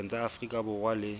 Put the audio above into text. pakeng tsa afrika borwa le